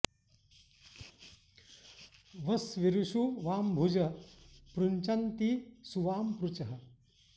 वस्वी॑रू॒ षु वां॒ भुजः॑ पृ॒ञ्चन्ति॒ सु वां॒ पृचः॑